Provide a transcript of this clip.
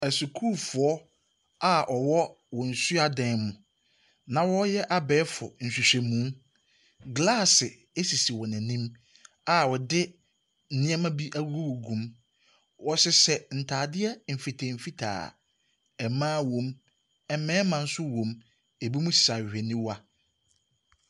Asukuufoɔ a wɔwɔ wɔn suadan mu na wɔreyɛ abɛɛfo nhwehwɛmu. Glaase sisi wɔn ani a wɔde nneɛma bi agugugugu mu. Wɔhyehyɛ ntadeɛ mfitaa mfitaa. Mma wɔ mu, mmarima nso wɔ mu, Ɛbinom hyehyɛ ahwehwɛniwa.